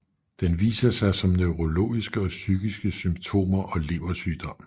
Den viser sig som neurologiske og psykiske symptomer og leversygdom